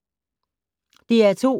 DR2